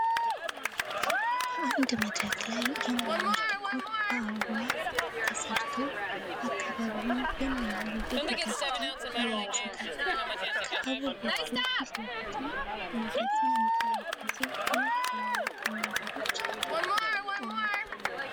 በአንድ መድረክ ላይ የሚያምር ዲኮር በአበባ ተሰርቶ አካባቢውን የሚያምር ዉብ ገጽታ አላብሶታል። ከአበቦቹ ፊት ለፊትም ሞገስን የተላበሱ ሁለት ትላልቅ ወንበሮች ተቀምጠዋል።